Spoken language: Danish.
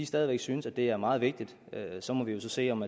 stadig væk synes det er meget vigtigt så må vi jo se om